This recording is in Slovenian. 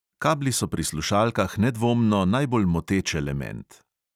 Kabli so pri slušalkah nedvomno najbolj moteč element.